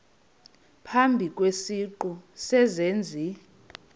phambi kwesiqu sezenzi